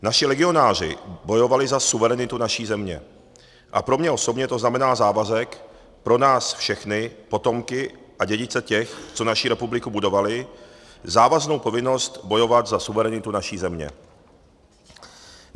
Naši legionáři bojovali za suverenitu naší země a pro mne osobně to znamená závazek pro nás všechny potomky a dědice těch, co naši republiku budovali, závaznou povinnost bojovat za suverenitu naší země.